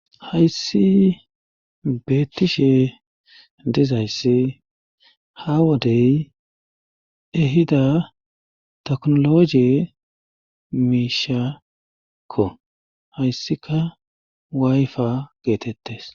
Hayssi beettishe dizayssi ha wodey ehida teknologe miishakko hayssika waayfa geetettes.